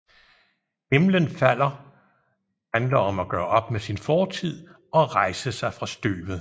Himlen Falder handler om at gøre op med sin fortid og rejse sig fra støvet